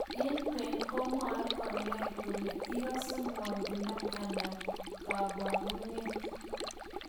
eng kween komwaae kanyoik kole ikase ngwoninda ana ko kabarunet